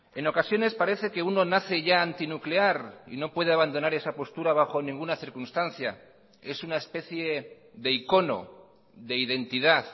en ocasiones parece que uno nace ya antinuclear y no puede abandonar esa postura bajo ninguna circunstancia es una especie de icono de identidad